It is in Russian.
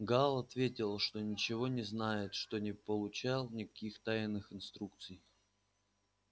гаал ответил что ничего не знает что не получал никаких тайных инструкций